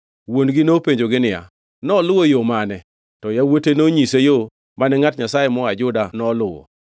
Wuon-gi nopenjogi niya, “Noluwo yo mane?” To yawuote nonyise yo mane ngʼat Nyasaye moa Juda noluwo.